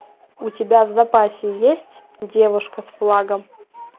у тебя в запасе есть девушка с флагом